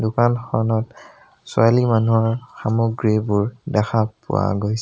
দোকানখনত ছোৱালী মানুহৰ সামগ্ৰীবোৰ দেখা পোৱা গৈ --